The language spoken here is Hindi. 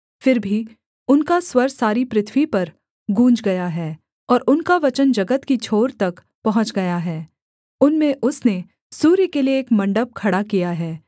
फिर भी उनका स्वर सारी पृथ्वी पर गूँज गया है और उनका वचन जगत की छोर तक पहुँच गया है उनमें उसने सूर्य के लिये एक मण्डप खड़ा किया है